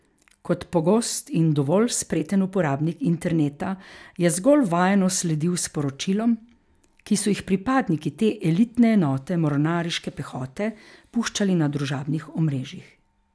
Kot pogost in dovolj spreten uporabnik interneta je zgolj vajeno sledil sporočilom, ki so jih pripadniki te elitne enote mornariške pehote puščali na družabnih omrežjih.